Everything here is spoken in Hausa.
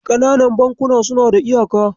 Ƙananan bankuna suna da iyaka.